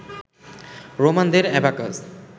রোমানদের abacus